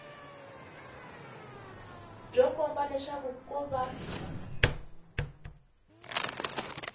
byo komba leswaku ko va